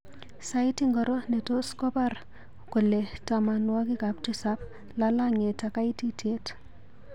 Sait ingoro ne tos kobar kole tamanuakik tisap lalang'iet ak kaititiet.